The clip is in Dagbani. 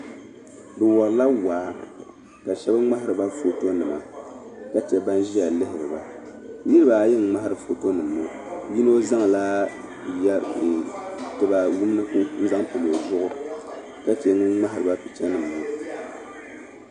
Bɛ warila waa ka shɛba ŋmahiri ba fotonima ka che ban ʒiya lihiri ba niriba ayi ŋ-ŋmahiri fotonima ŋɔ yino zaŋla tiba wumdigu n-zaŋ kpabi o zuɣu ka che ŋun ŋmahiri ba pichanima maa.